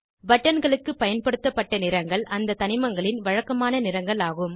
பட்டன்களுக்கு பயன்படுத்தப்பட்ட நிறங்கள் அந்த தனிமங்களின் வழக்கமான நிறங்கள் ஆகும்